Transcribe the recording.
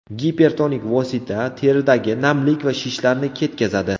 Gipertonik vosita teridagi namlik va shishlarni ketkazadi.